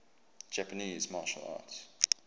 japanese martial arts